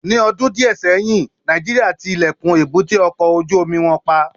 Ni ọdun diẹ sẹyin, Nàìjíríà ti ilẹkun èbúté ọkọ ojú omi wọn pa